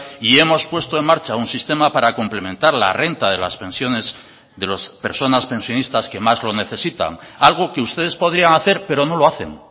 y hemos puesto en marcha un sistema para complementar la renta de las pensiones de las personas pensionistas que más lo necesitan algo que ustedes podrían hacer pero no lo hacen